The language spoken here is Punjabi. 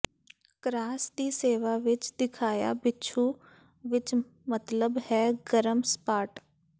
ਕਰਾਸ ਦੀ ਸੇਵਾ ਵਿਚ ਦਿਖਾਇਆ ਬਿਛੂ ਵਿਚ ਮਤਲਬ ਹੈ ਗਰਮ ਸਪਾਟ